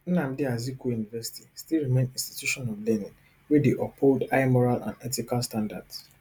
nnamdi azikiwe university still remain institution of learning wey dey uphold high moral and ethical standards